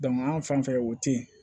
anw fan fɛ o tɛ ye